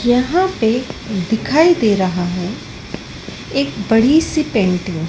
यहां पे दिखाई दे रहा है एक बड़ी सी पेंटिंग ।